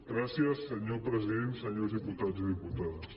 gracies senyor president senyors diputats i diputades